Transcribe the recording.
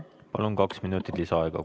Palun, kaks minutit lisaaega!